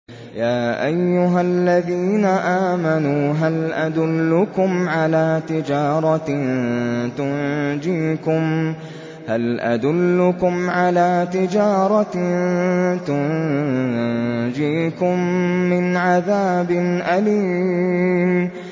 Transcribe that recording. يَا أَيُّهَا الَّذِينَ آمَنُوا هَلْ أَدُلُّكُمْ عَلَىٰ تِجَارَةٍ تُنجِيكُم مِّنْ عَذَابٍ أَلِيمٍ